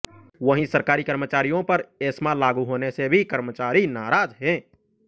वहीं सरकारी कर्मचारियों पर एस्मा लागू होने से भी कर्मचारी नाराज हैं